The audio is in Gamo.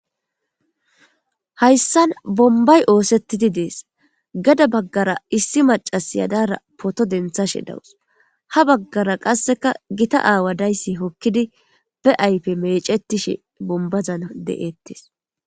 hayssan bombay oosettidi dees gada baggara issi macas yadara poto denthashe dawus ha baggara qasseka gita aawadayssi hokkidi be aype mecetishe bombazan de7ettes